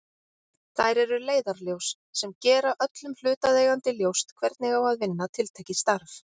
Þær eru leiðarljós sem gera öllum hlutaðeigandi ljóst hvernig á að vinna tiltekið starf.